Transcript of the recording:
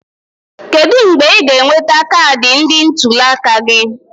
Kedu mgbe ị ga-enweta kaadị ndị ntuli aka gị?